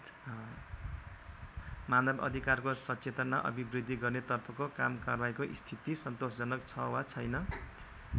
मानव अधिकारको सचेतना अभिबृद्धि गर्ने तर्फको कामकारवाहीको स्थिति सन्तोषजनक छ वा छैन?